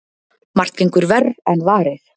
Margt gengur verr en varir.